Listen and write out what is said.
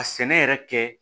A sɛnɛ yɛrɛ kɛ